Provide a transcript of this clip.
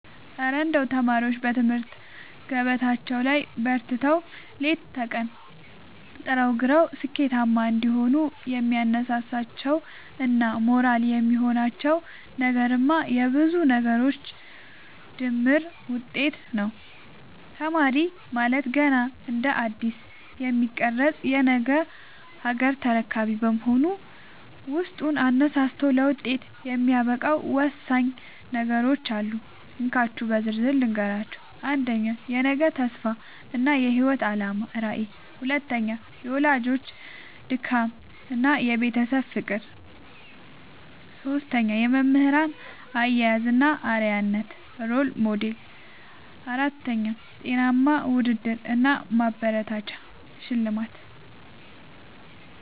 እረ እንደው ተማሪዎች በትምህርት ገበታቸው ላይ በርትተው፣ ሌት ከቀን ጥረውና ግረው ስኬታማ እንዲሆኑ የሚያነሳሳቸውና ሞራል የሚሆናቸው ነገርማ የብዙ ነገሮች ድምር ውጤት ነው! ተማሪ ማለት ገና እንደ አዲስ የሚቀረጽ የነገ ሀገር ተረካቢ በመሆኑ፣ ውስጡን አነሳስቶ ለውጤት የሚያበቃው ወሳኝ ነገሮች አሉ፤ እንካችሁ በዝርዝር ልንገራችሁ - 1. የነገ ተስፋ እና የህይወት አላማ (ራዕይ) 2. የወላጆች ድካምና የቤተሰብ ፍቅር 3. የመምህራን አያያዝ እና አርአያነት (Role Model) 4. ጤናማ ውድድር እና ማበረታቻ (ሽልማት)